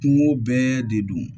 Kungo bɛɛ de don